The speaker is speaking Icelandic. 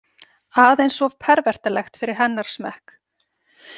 Aðeins of pervertalegt fyrir hennar smekk.